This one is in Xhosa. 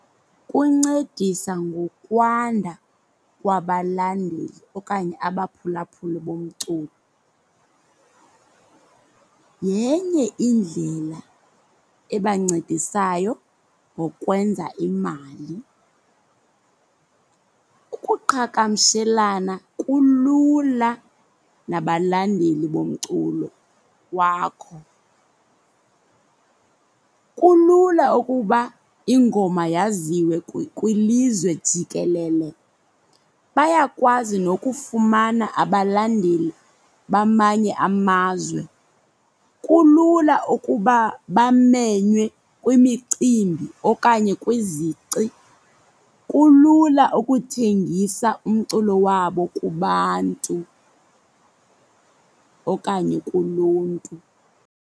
Kuncedisa ngokwanda kwabalandeli okanye abaphulaphuli bomculo. Yenye indlela ebancedisayo ngokwenza imali. Ukuqhagamshelana kulula nabalandeli bomculo wakho. Kulula ukuba ingoma yaziwe kwilizwe jikelele. Bayakwazi nokufumana abalandeli bamanye amazwe. Kulula ukuba bamenywe kwimicimbi okanye kwizici. Kulula ukuthengisa umculo wabo kubantu okanye kuluntu.